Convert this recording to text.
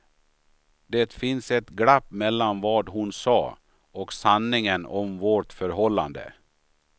Det fanns ett glapp mellan vad hon sa och sanningen om vårt förhållande.